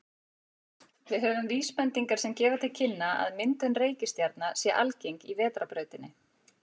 Við höfum vísbendingar sem gefa til kynna að myndun reikistjarna sé algeng í Vetrarbrautinni.